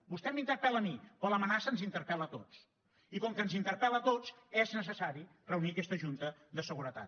vostè m’interpel·la a mi però l’amenaça ens interpel·la a tots i com que ens interpel·la a tots és necessari reunir aquesta junta de seguretat